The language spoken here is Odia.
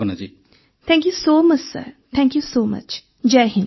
Bhavna thank you so much sir thank you so much Jai Hind sir